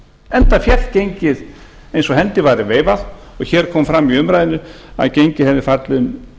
enda féll gengið eins og hendi væri veifað og hér kom fram í umræðunni að gengið hefði lækkað um